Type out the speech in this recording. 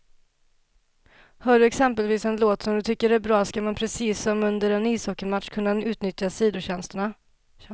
Hör du exempelvis en låt som du tycker är bra, ska man precis som under en ishockeymatch kunna utnyttja sidotjänsterna.